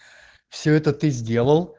все это ты сделал